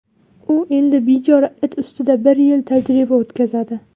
U endi bechora it ustida bir yil tajriba o‘tkazadi.